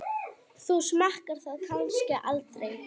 Þú smakkar það kannski aldrei?